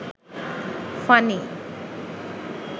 funny